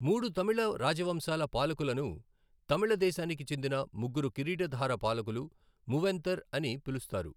మూడు తమిళ రాజవంశాల పాలకులను తమిళ దేశానికి చెందిన ముగ్గురు కిరీటధార పాలకులు ము వెంతర్ అని పిలుస్తారు.